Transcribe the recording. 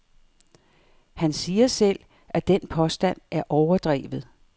Han siger selv, at den påstand er overdrevet.